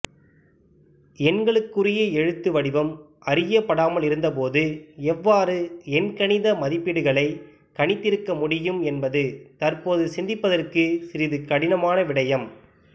எண்களுக்குரிய எழுத்து வடிவம் அறியப்படாமல் இருந்தபோது எவ்வாறு எண்கணித மதிப்பீடுகளை கணித்திருக்கமுடியும் என்பது தற்போது சிந்திப்பதற்கு சிறிது கடினமான விடயம்